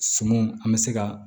Sumanw an bɛ se ka